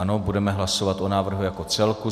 Ano, budeme hlasovat o návrhu jako celku.